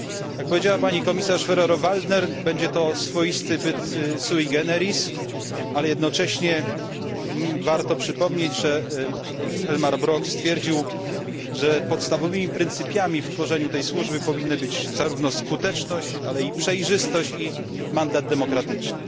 Jak powiedziała pani komisarz Ferrero Waldner, będzie to swoisty byt sui generis ale jednocześnie warto przypomnieć, że Elmar Brok stwierdził, że podstawowymi pryncypiami w tworzeniu tej służby powinny być zarówno skuteczność, jak i przejrzystość oraz mandat demokratyczny.